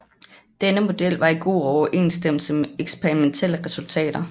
Denne model var i god overensstemmelse med eksperimentelle resultater